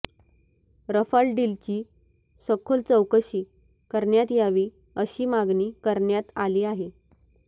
Rafale डीलची सखोल चौकशी करण्यात यावी अशी मागणी करण्यात आली आहे